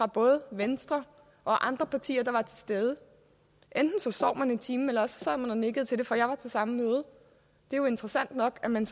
både venstre og andre partier der var til stede enten sov man i timen eller også sad man og nikkede til det for jeg var til det samme møde det er jo interessant nok at man